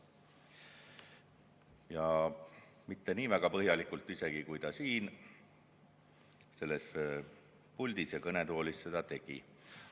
Ja mitte nii põhjalikult, kui ta siin selles puldis, kõnetoolis seda tegi.